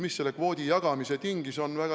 Mis selle kvoodi jagamise tingis?